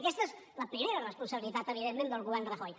aquesta és la primera responsabilitat evidentment del govern rajoy